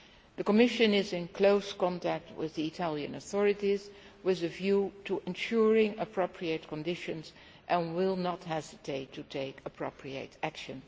The Commission is in close contact with the Italian authorities with a view to ensuring appropriate conditions and will not hesitate to take appropriate action.